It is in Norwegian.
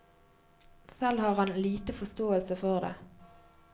Selv har han lite forståelse for det.